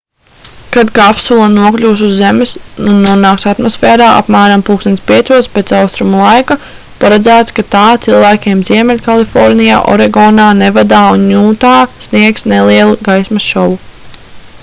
kad kapsula nokļūs uz zemes un nonāks atmosfērā apmēram plkst. 5:00 pēc austrumu laika paredzēts ka tā cilvēkiem ziemeļkalifornijā oregonā nevadā un jūtā sniegs nelielu gaismas šovu